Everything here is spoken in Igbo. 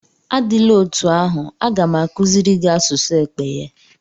Adịla otú ahụ, a ga m akuziri gị asụsụ Ekpeye.